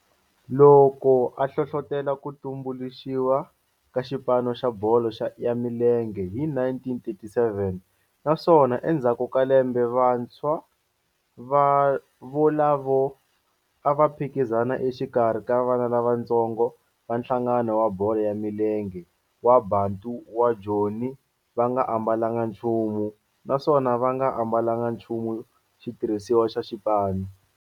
Loko a hlohlotela ku tumbuluxiwa ka xipano xa bolo ya milenge hi 1937 naswona endzhaku ka lembe vantshwa volavo a va phikizana exikarhi ka vana lavatsongo va nhlangano wa bolo ya milenge wa Bantu wa Joni va nga ambalanga nchumu naswona va nga ambalanga nchumu xitirhisiwa xa xipano.